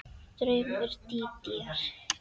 Draumur Dídíar